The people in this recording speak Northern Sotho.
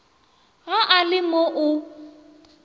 ge a le mo o